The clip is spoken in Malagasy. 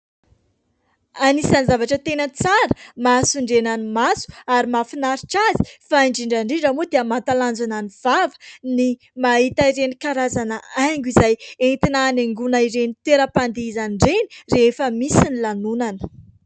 Anisan'ny zavatra tena tsara mahasondriana ny maso ary mahafinaritra azy, fa indrindra indrindra moa dia mahatalanjona ny vava ny mahita ireny karazana haingo izay entina hanaingoina ireny toeram-pandihizana ireny rehefa misy ny lanonana.